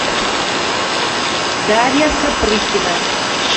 дарья сапрыкина